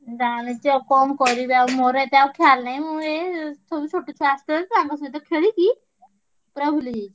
ଜାଣିଛି ଆଉ କଣ କରିବି ମୋର ଏତେ ଆଉ ଖେୟାଲ ନାହିଁ ମୁଁ ଏ ଛୋଟ ଛୁଆ ସବୁ ଆସିଛନ୍ତି ତାଙ୍କ ସହିତ ଖେଳିକି ପୁରା ଭୁଲିଯାଇଛି।